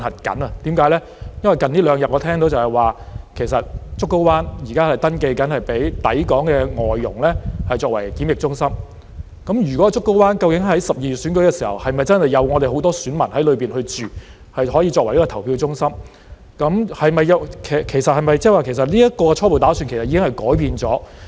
因為近兩天，我聽到現時正在登記，讓竹篙灣作為抵港外傭的檢疫中心，究竟在12月選舉時，是否真的有很多選民在那裏居住，可以作為投票中心，其實是否即是這個初步打算已經改變了？